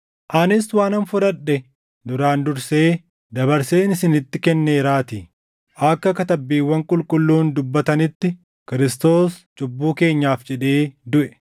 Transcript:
Anis waanan fudhadhe duraan dursee dabarseen isinitti kenneeraatii; akka Katabbiiwwan Qulqulluun dubbatanitti, Kiristoos cubbuu keenyaaf jedhee duʼe;